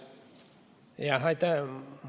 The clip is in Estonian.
Jah, aitäh!